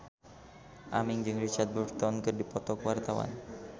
Aming jeung Richard Burton keur dipoto ku wartawan